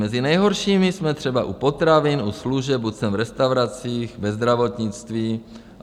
Mezi nejhoršími jsme třeba u potravin, u služeb, u cen v restauracích, ve zdravotnictví.